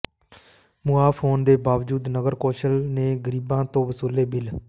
ਮੁਆਫ ਹੋਣ ਦੇ ਬਾਵਜੂਦ ਨਗਰ ਕੌਂਸਲ ਨੇ ਗਰੀਬਾਂ ਤੋਂ ਵਸੂਲੇ ਬਿੱਲ